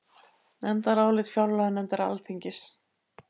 Nefndarálit fjárlaganefndar Alþingis